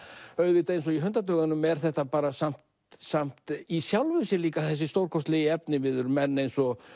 auðvitað eins og í Hundadögunum er þetta samt samt í sjálfu sér líka þessi stórkostlegi efniviður menn eins og